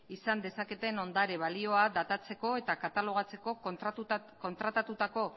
izan dezaketen ondare balioa datatzeko eta katalogatzeko kontratatutako